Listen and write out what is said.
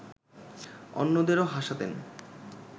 অন্যদেরও হাসাতেন